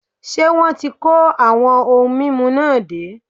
Ṣé wọn ti kó àwọn ohun mímu náà dé?